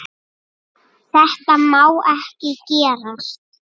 Þetta má ekki gerast.